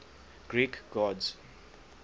greek gods